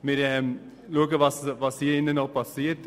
Wir schauen nun, was passiert.